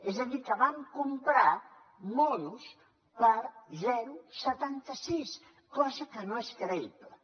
és a dir que van comprar monos per zero coma setanta sis cosa que no és creïble